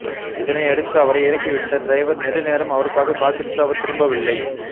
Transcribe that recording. இதனையடுத்து அவரை இறக்கி விட்ட டிரைவர் நெடுநேரம் அவருக்காக காத்திருந்து அவர் திரும்பவில்லை